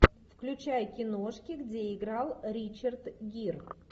включай киношки где играл ричард гир